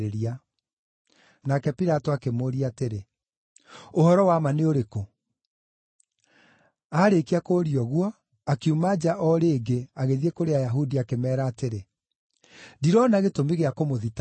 Nake Pilato akĩmũũria atĩrĩ, “Ũhoro wa ma nĩ ũrĩkũ?” Aarĩkia kũũria ũguo akiuma nja o rĩngĩ agĩthiĩ kũrĩ Ayahudi akĩmeera atĩrĩ, “Ndirona gĩtũmi gĩa kũmũthitangĩra.